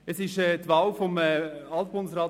Am Tag der Wahl von Bundesrat